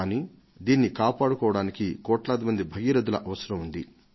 కానీ దీనిని కాపాడుకోవడానికి కోట్లాది భగీరథుల అవసరం ఉంది